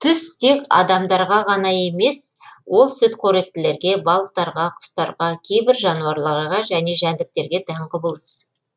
түс тек адамдарға ғана емес ол сүтқоректілерге балықтарға құстарға кейбір жануарларға және жәндіктерге тән құбылыс